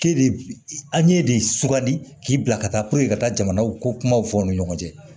K'e de an ye de sugandi k'i bila ka taa ka taa jamanaw ko kumaw fɔ aw ni ɲɔgɔn cɛ